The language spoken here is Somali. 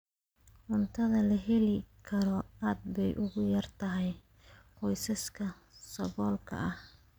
Cuntada la heli karo aad bay ugu yar tahay qoysaska saboolka ah.